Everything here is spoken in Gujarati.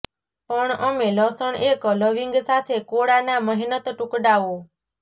પણ અમે લસણ એક લવિંગ સાથે કોળાના મહેનત ટુકડાઓ